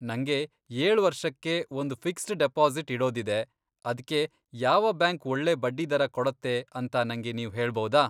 ನಂಗೆ ಏಳ್ ವರ್ಷಕ್ಕೆ ಒಂದ್ ಫಿಕ್ಸ್ಡ್ ಡಿಪಾಸಿಟ್ ಇಡೋದಿದೆ, ಅದ್ಕೆ, ಯಾವ ಬ್ಯಾಂಕ್ ಒಳ್ಳೇ ಬಡ್ಡಿದರ ಕೊಡತ್ತೆ ಅಂತ ನಂಗೆ ನೀವ್ ಹೇಳಬೌದಾ?